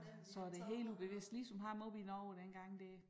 Så det helt ubevidst ligesom ham oppe i Norge dengang dér